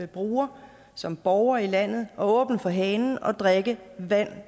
brugere som borgere i landet og åbne for hanen og drikke vand